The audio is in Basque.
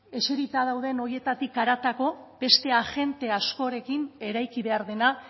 eserita dauden horietatik haratago beste agente askorekin eraiki behar dena